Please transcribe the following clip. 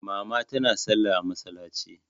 Mama tana salla a masallaci.